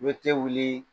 Me te wuli